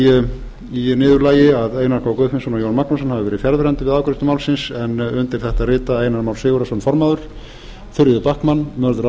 forseti í niðurlagi að einar k guðfinnsson og jón magnússon hafi verið fjarverandi við afgreiðslu málsins undir þetta rita einar már sigurðarson formaður þuríður backman mörður